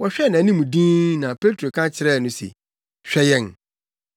Wɔhwɛɛ nʼanim dinn na Petro ka kyerɛɛ no se, “Hwɛ yɛn!”